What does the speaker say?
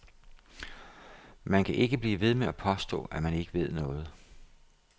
Man kan ikke blive ved med at påstå, at man ikke ved noget.